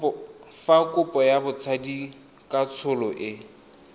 fa kopo ya botsadikatsholo e